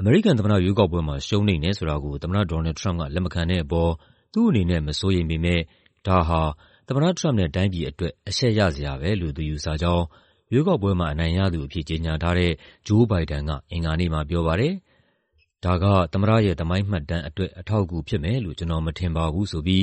အမေရိကန်သမ္မတရွေးကောက်ပွဲမှာ ရှုံးနိမ့်တယ်ဆိုတာကို သမ္မတ ဒေါ်နယ်လ်ဒ် ထရမ့်ပ်က လက်မခံတဲ့အပေါ် သူ့အနေနဲ့ မစိုးရိမ်ပေမဲ့ ဒါဟာ သမ္မတထရမ့်ပ်နဲ့ တိုင်းပြည်အတွက် အရှက်ရစရာပဲလို့ သူယူဆကြောင်း ရွေးကောက်ပွဲမှာ အနိုင်ရသူအဖြစ် ကြေညာထားတဲ့ Joe Biden က အင်္ဂါနေ့မှာပြောပါတယ်။ "ဒါက သမ္မတရဲ့ သမိုင်းမှတ်တမ်းအတွက် အထောက်အကူဖြစ်မယ်လို့ ကျနော်မထင်ပါဘူး။" ဆိုပြီး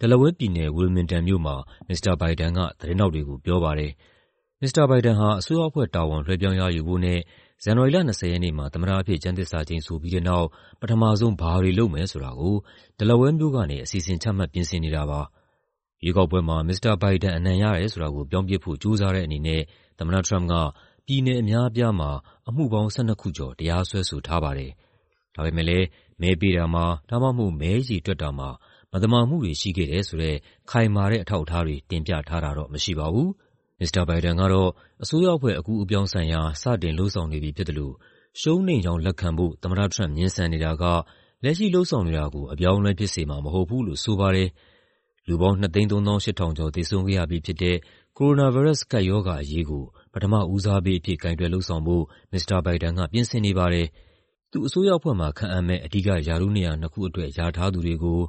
Delaware ပြည်နယ်၊ Wilmington မြို့မှာ မစ္စတာဘိုင်ဒန်က သတင်းထောက်တွေကို ပြောပါတယ်။ မစ္စတာဘိုင်ဒန်ဟာ အစိုးရအဖွဲ့တာဝန် လွှဲပြောင်းရယူဖို့နဲ့ ဇန်နဝါရီလ ၂၀ ရက်နေ့မှာ သမ္မတအဖြစ် ကျမ်းသစ္စာကျိန်ဆိုပြီးတဲ့နောက် ပထမဆုံး ဘာတွေလုပ်မယ်ဆိုတာကို Delaware မြို့ကနေ အစီအစဉ်ချမှတ် ပြင်ဆင်နေတာပါ။ ရွေးကောက်ပွဲမှာ မစ္စတာဘိုင်ဒန် အနိုင်ရတယ်ဆိုတာကို ပြောင်းပစ်ဖို့ ကြိုးစားတဲ့အနေနဲ့ သမ္မတထရမ့်ပ်က ပြည်နယ်အများအပြားမှာ အမှုပေါင်း ၁၂ ခုကျော် တရားစွဲဆိုထားပါတယ်။ ဒါပေမယ့် မဲပေးတာမှာ ဒါမှမဟုတ် မဲရေတွက်တာမှာ မသမာမှုတွေ ရှိခဲ့တယ်ဆိုတဲ့ ခိုင်မာတဲ့ အထောက်အထားတွေ တင်ပြထားတာတော့ မရှိပါဘူး။ မစ္စတာဘိုင်ဒန်ကတော့ အစိုးရအဖွဲ့ အကူးအပြောင်းဆိုင်ရာ စတင်လုပ်ဆောင်နေပြီဖြစ်သလို ရှုံးနိမ့်ကြောင်းလက်ခံဖို့ သမ္မတထရမ့်ပ် ငြင်းဆန်နေတာက လက်ရှိလုပ်ဆောင်နေတာကို အပြောင်းအလဲဖြစ်စေမှာ မဟုတ်ဘူးလို့ဆိုပါတယ်။ လူပေါင်း ၂၃၈,၀၀၀ ကျော် သေဆုံးခဲ့ရပြီးဖြစ်တဲ့ ကိုရိုနာဗိုင်းရပ်စ် ကပ်ရောဂါအရေးကို ပထမဦးစားပေးအဖြစ် ကိုင်တွယ်လုပ်ဆောင်ဖို့ မစ္စတာဘိုင်ဒန်က ပြင်ဆင်နေပါတယ်။ သူ့အစိုးရအဖွဲ့မှာ ခန့်အပ်မယ့် အဓိက ရာထူးနေရာနှစ်ခုအတွက် လျာထားသူတွေကို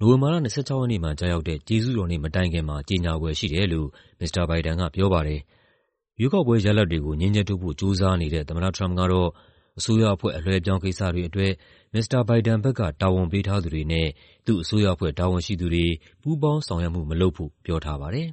နိုဝင်ဘာလ ၂၆ ရက်နေ့မှာ ကျရောက်တဲ့ ကျေးဇူးတော်နေ့မတိုင်ခင်မှာ ကြေညာဖွယ်ရှိတယ်လို့ မစ္စတာဘိုင်ဒန်ကပြောပါတယ်။ ရွေးကောက်ပွဲရလဒ်တွေကို ငြင်းချက်ထုတ်ဖို့ ကြိုးစားနေတဲ့ သမ္မတထရမ့်ပ်ကတော့ အစိုးရအဖွဲ့ အလွှဲအပြောင်းကိစ္စတွေအတွက် မစ္စတာဘိုင်ဒန်ဘက်က တာဝန်ပေးထားသူတွေနဲ့ သူ့အစိုးရအဖွဲ့တာဝန်ရှိသူတွေ ပူးပေါင်းဆောင်ရွက်မှု မလုပ်ဖို့ ပြောထားပါတယ်။